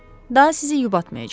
Daha sizi yubatmayacam.